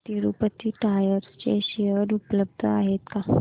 Tirupati tyres चे share उपलब्ध आहेत का